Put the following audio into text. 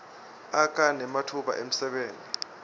akha nematfuba emsebenti